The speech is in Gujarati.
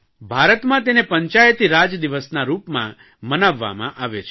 ભારતમાં તેને પંચાયતીરાજ દિવસના રૂપમાં મનાવવામાં આવે છે